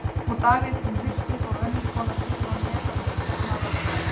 Og dag einn um haustið fór önnur kona suður á Nes að vitja annarrar grafar.